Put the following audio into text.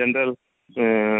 General ଆଁ